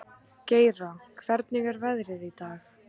Geira, hvernig er veðrið í dag?